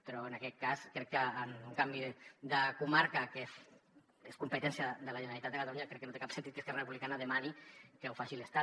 però en aquest cas en un canvi de comarca que és competència de la generalitat de catalunya crec que no té cap sentit que esquerra republicana demani que ho faci l’estat